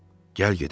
Gəl gedək.